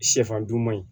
Sɛfan dun man ɲi